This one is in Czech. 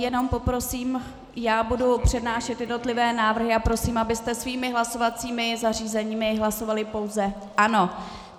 Jenom poprosím, já budu přednášet jednotlivé návrhy a prosím, abyste svými hlasovacími zařízeními hlasovali pouze ano.